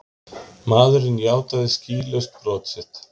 Maðurinn játaði skýlaust brot sitt